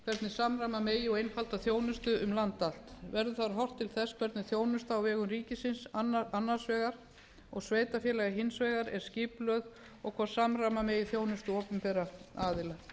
samræma megi og einfalda þjónustu um land allt verður þar horft til þess hvernig þjónusta á vegum ríkisins annars vegar og sveitarfélaga hins vegar er skipulögð og hvort samræma megi þjónustu opinberra aðila